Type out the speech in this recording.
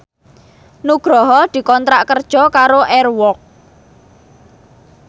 Nugroho dikontrak kerja karo Air Walk